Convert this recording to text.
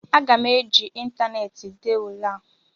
Aga m eji ịntaneetị dee ule a